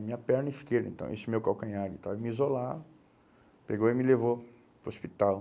Minha perna esquerda, então, esse meu calcanhar, então, eles me isolaram, pegou e me levou para o hospital.